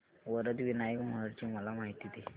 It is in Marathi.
वरद विनायक महड ची मला माहिती दे